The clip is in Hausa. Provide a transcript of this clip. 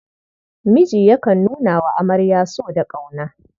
Miji yakan nuna wa amarya so da ƙauna.